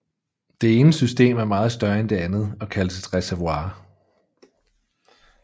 Det ene system er meget større end det andet og kaldes et reservoir